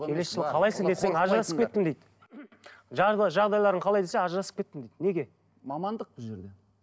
келесі жылы қалайсың десең ажырасып кеттім дейді жағдайларың қалай десе ажырасып кеттім дейді неге мамандық бұл жерде